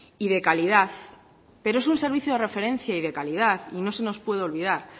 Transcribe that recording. y de calidad pero es un servicio de referencia y de calidad y no se nos puede olvidar